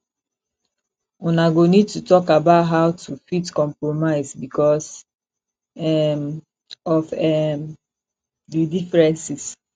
una go need to talk about how to fit compromise because um of um di differences